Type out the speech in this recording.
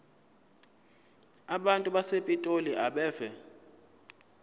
abantu basepitoli abeve